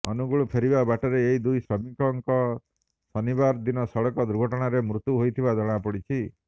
ଅନୁଗୁଳ ଫେରିବା ବାଟରେ ଏହି ଦୁଇ ଶ୍ରମିକଙ୍କର ଶନିବାର ଦିନ ସଡକ ଦୁର୍ଘଟଣାରେ ମୃତ୍ୟୁ ହୋଇଥିବା ଜଣାପଡିଛି